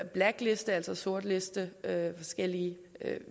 blacklistning sortlistning af forskellige